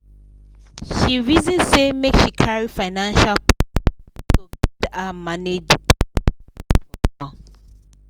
she reason say make she carry financial person wey go guide her manage the tax palava for now